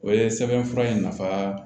O ye sɛbɛnfura in nafa